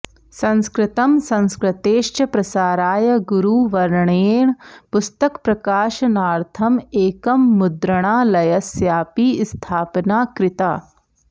संस्कृतं संस्कृतेश्च प्रसाराय गुरुवर्येण पुस्तकप्रकाशनार्थं एकं मुद्रणालयस्यापि स्थापना कृता